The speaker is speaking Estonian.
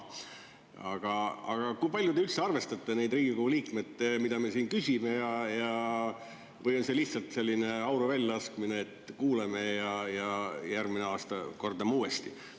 Aga kui palju te üldse arvestate seda, mida meie, Riigikogu liikmed, siin küsime, või on see lihtsalt selline auru väljalaskmine, et kuulame ja järgmine aasta kordame uuesti?